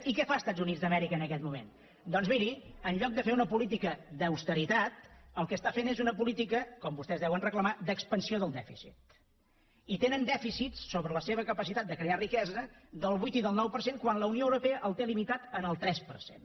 i què fan els estats units d’amèrica en aquest moment doncs miri en lloc de fer una política d’austeritat el que està fent és una política com vostès deuen reclamar d’expansió del dèficit i tenen dèficits sobre la seva capacitat de crear riquesa del vuit i del nou per cent quan la unió europea el té limitat en el tres per cent